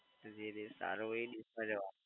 તો જે દેશ સારો હોય એ દેશમાં જવાનું.